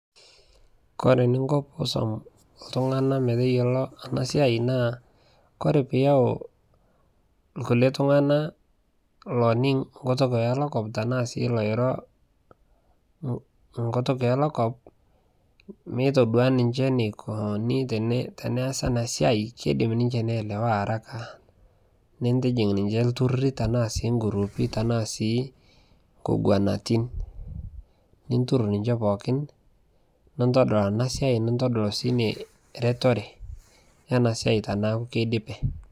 Kore niinko oosom ltung'ana meeteiyeloo ana siai naa kore piyau lkulee ltung'ana loiniing' nkutuuk elokoom tana sii loiro nkutuuk elokoom meetudua ninchee nikonii teneasi ana siai keidiim ninchee neelewa araka. Niitijiik ninchee ltuururi tana sii ng'uruupi tana nkoguanatin . Nitururur ninchee pookin nuntodol ena siai nuntodol sii nie retoree ena siai teneaku keidipee.